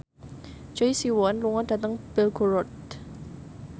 Choi Siwon lunga dhateng Belgorod